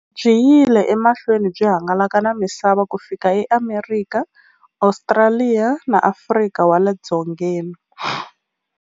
Byi yile emahlweni byi hangalaka na misava ku fika eAmerika, Ostraliya na Afrika wale dzongeni.